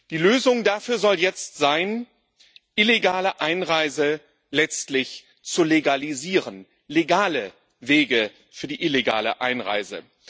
Die Lösung dafür soll jetzt sein, illegale Einreise letztlich zu legalisieren legale Wege für die illegale Einreise.